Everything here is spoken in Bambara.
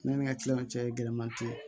Ne ni ka kiliyanw cɛman te yen